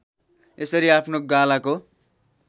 यसरी आफ्नो गालाको